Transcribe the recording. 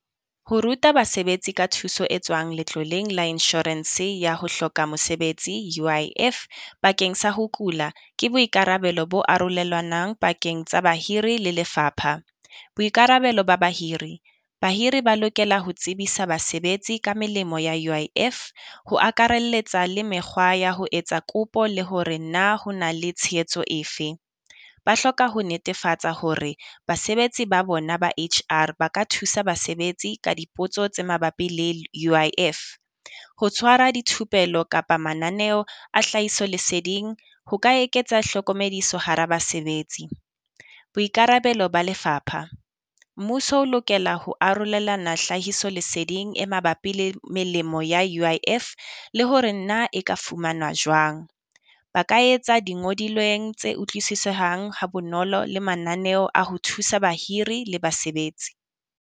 Ho ruta basebetsi ka thuso e tswang letloleng la inshorense ya ho hloka mosebetsi U_I_F bakeng sa ho kula, ke boikarabelo bo arolelwanang pakeng tsa bahiri le lefapha. Boikarabelo ba bahiri, bahiri ba lokela ho tsebisa basebetsi ka melemo ya U_I_F, ho akarelletsa le mekgwa ya ho etsa kopo le hore na ho na le tshehetso efe. Ba hloka ho netefatsa hore basebetsi ba bona ba H_R ba ka thusa basebetsi ka dipotso tse mabapi le U_I_F. Ho tshwara dithupelo kapa mananeo a hlahiso leseding ho ka eketsa hlokomediso hara basebetsi. Boikarabelo Ba Lefapha, mmuso o lokela ho arolelana hlahiso leseding e mabapi le melemo ya U_I_F, le hore na e ka fumana jwang. Ba ka etsa di ngodilweng tse utlwisisehang ha bonolo le mananeo a ho thusa bahiri le basebetsi.